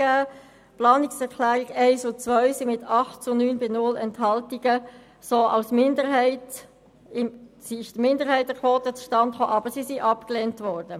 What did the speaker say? Die Planungserklärungen 1 und 2 sind mit 8 Ja- gegen 9 Nein-Stimmen bei 1 Enthaltung abgelehnt worden.